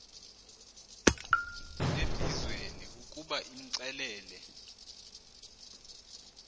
embizweni ukuba imxelele